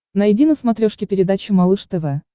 найди на смотрешке передачу малыш тв